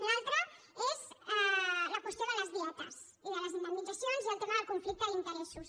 l’altra és la qüestió de les dietes i de les indemnitzacions i el tema del conflicte d’interessos